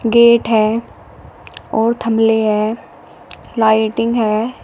Gate है और थमले है लाइटिंग है।